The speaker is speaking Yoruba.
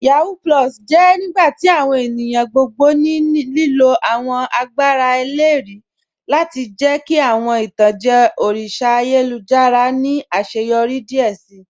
Yahoo + jẹ nigbati awọn ènìyàn gbogbo ní lílo awọn àgbàrá èlérì lati jẹ̀ kí awọn itanjẹ̀ òrìṣà àyélujára ni aṣẹ́yọrí díẹ̀ sí.